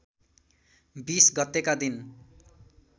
२० गतेका दिन